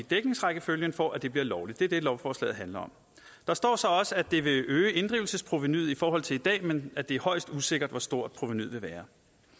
dækningsrækkefølgen for at det bliver lovligt det er det lovforslaget handler om der står så også at det vil øge inddrivelsesprovenuet i forhold til i dag men at det er højst usikkert hvor stort provenuet vil